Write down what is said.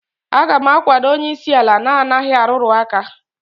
a ga m akwado onye isi ala na-anaghị arụrụ aka